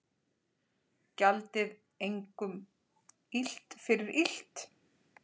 Gjaldið engum illt fyrir illt.